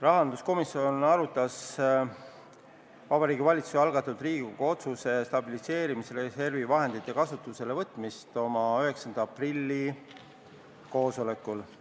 Rahanduskomisjon arutas Vabariigi Valitsuse algatatud Riigikogu otsuse "Stabiliseerimisreservi vahendite kasutusele võtmine" eelnõu 9. aprilli koosolekul.